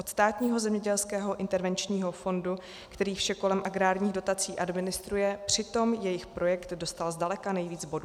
Od Státního zemědělského intervenčního fondu, který vše kolem agrárních dotací administruje, přitom jejich projekt dostal zdaleka nejvíc bodů.